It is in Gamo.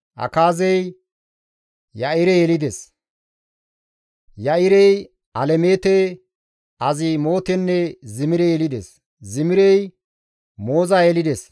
Akaazey Ya7ire yelides; Ya7irey Alemeete, Azimootenne Zimire yelides; Zimirey Mooza yelides;